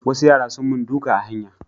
Wasu yara sun mun duka a hanya